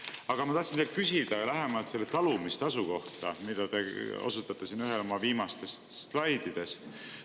Aga ma tahtsin teilt küsida lähemalt selle talumistasu kohta, millele te osutate siin ühel viimastest slaididest.